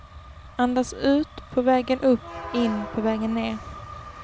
Andas ut på vägen upp, in på vägen ner.